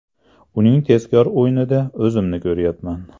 Uning tezkor o‘yinida o‘zimni ko‘ryapman.